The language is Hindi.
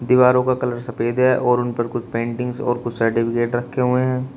दीवारों का कलर सफेद है और उन पर कुछ पेंटिंग्स और कुछ सर्टिफिकेट रखे हुए हैं।